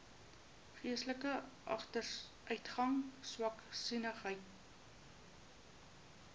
geestelike agteruitgang swaksinnigheid